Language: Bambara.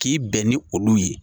K'i bɛn ni olu ye.